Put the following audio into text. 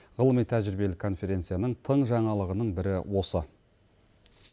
ғылыми тәжірибелі конференцияның тың жаңалығының бірі осы